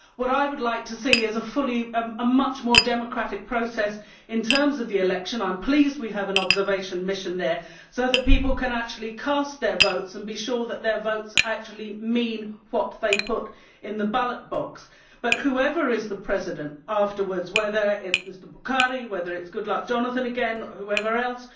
What I would like to see is a much more democratic process in terms of the election I am pleased we have an observation mission there so that people can actually cast their votes and be sure that their votes mean what they put in the ballot box. But whoever is the president afterwards whether it is Mr Buhari, whether it is Goodluck Jonathan again, whoever else